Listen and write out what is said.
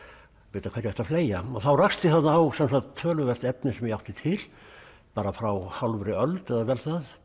vita hverju ætti að fleygja þá rakst ég þarna á töluvert efni sem ég átti til bara frá hálfri öld eða vel það